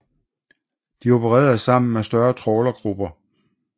De opererede sammen med større trawlergrupper